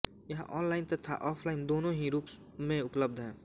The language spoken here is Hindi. यह ऑनलाइन तथा ऑफलाइन दोनों ही रूप में उपलब्ध है